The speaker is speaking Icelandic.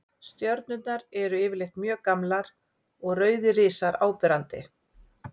Stjörnurnar eru því yfirleitt mjög gamlar og rauðir risar áberandi.